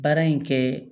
Baara in kɛ